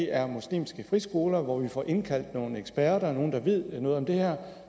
er muslimske friskoler og hvor vi får indkaldt nogle eksperter nogle der ved noget om det her